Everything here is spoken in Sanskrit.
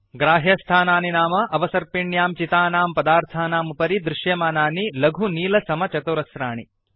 ग्राह्यस्थानानि नाम अवसर्पिण्यां चितानां पदार्थानाम् उपरि दृश्यमानानि लघु नील समचतुरस्राणि